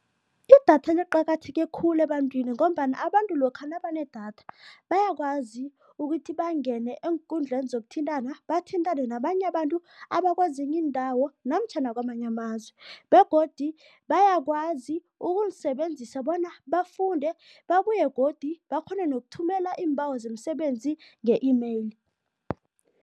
Idatha liqakatheke khulu ebantwini ngombana abantu lokha nabanedatha bayakwazi ukuthi bangene eenkundleni zokuthintana bathintane nabanye abantu abakwezinye iindawo namtjhana kwamanye amazwe begodu bayakwazi ukulisebenzisa bona bafunde, babuye godu bakghone nokuthumela iimbawo zemisebenzi nge-e-mail.